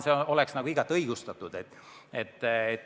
See oleks igati õigustatud.